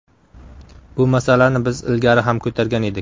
Bu masalani biz ilgari ham ko‘targan edik.